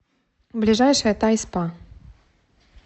ближайший тайспа